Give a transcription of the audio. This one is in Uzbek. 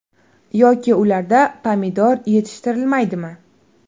Yoki ularda pomidor yetishtirilmaydimi?